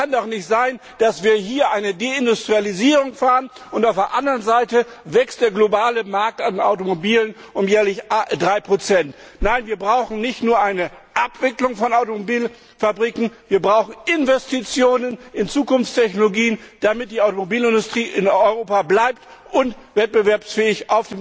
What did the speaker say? Es kann doch nicht sein, dass wir hier eine Deindustrialisierung betreiben und auf der anderen Seite wächst der globale Markt für Automobile um jährlich 3 Nein, wir brauchen nicht nur eine Abwicklung von Automobilfabriken, wir brauchen Investitionen in Zukunftstechnologien, damit die Automobilindustrie in Europa bleibt und auf dem globalen Markt wettbewerbsfähig